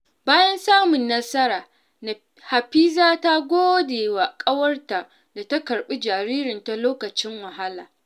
Bayan samun nasara, Hafiza ta gode wa ƙawarta da ta karɓi jaririnta lokacin wahala.